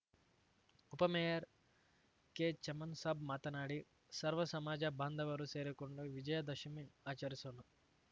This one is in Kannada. ಉಪ ಮೇಯರ್‌ ಕೆಚಮನ್‌ ಸಾಬ್‌ ಮಾತನಾಡಿ ಸರ್ವ ಸಮಾಜ ಬಾಂಧವರೂ ಸೇರಿಕೊಂಡು ವಿಜಯ ದಶಮಿ ಆಚರಿಸೋಣ